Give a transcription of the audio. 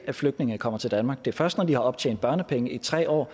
flygtninge kommer til danmark det er først når de har optjent børnepenge i tre år